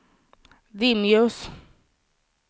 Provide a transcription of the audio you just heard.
dimljus